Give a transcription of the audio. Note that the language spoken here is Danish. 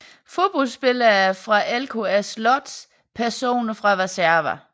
Fodboldspillere fra LKS Łódź Personer fra Warszawa